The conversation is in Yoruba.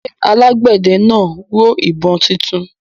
ṣé alágbẹ̀dẹ náà rọ ìbọn títún